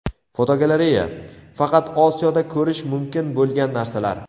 Fotogalereya: Faqat Osiyoda ko‘rish mumkin bo‘lgan narsalar.